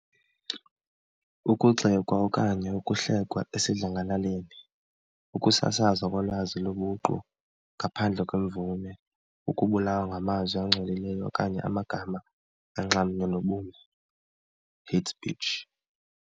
Ukugxekwa okanye ukuhlekwa esidlangalaleni, ukusasazwa kolwazi lobuqu ngaphandle kwemvume, ukubulawa ngamazwi angcolileyo okanye amagama anxamnye nobume, hate speech.